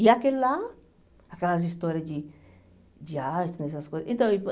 E aquele lá, aquelas histórias de de astro, essas coisas. Então e